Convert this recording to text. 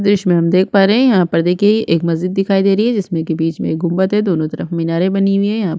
दृश्य में हम देख पा रहै है यहाँ पर देखिये एक मस्जिद दिखाई दे रही है जिसमे में की बिच में एक गुम्बाद हैं दोनों तरफ मीनारे बनी हुई है यहाँ पर --